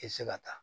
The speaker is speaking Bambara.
I tɛ se ka taa